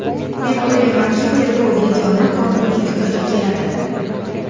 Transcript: Men o‘ylaymanki, tergov yagona qonuniy fikrga keladi.